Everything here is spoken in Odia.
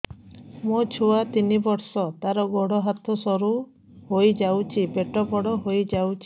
ମୋ ଛୁଆ ତିନି ବର୍ଷ ତାର ଗୋଡ ହାତ ସରୁ ହୋଇଯାଉଛି ପେଟ ବଡ ହୋଇ ଯାଉଛି